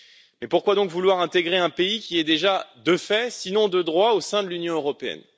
Mais pourquoi donc vouloir intégrer un pays qui est déjà, de fait, sinon de droit, au sein de l'Union européenne?